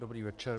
Dobrý večer.